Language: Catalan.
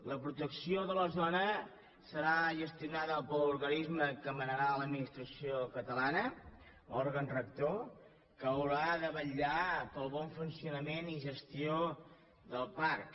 la protecció de la zona serà gestionada per l’organis·me que manarà l’administració catalana òrgan rector que haurà de vetllar pel bon funcionament i gestió del parc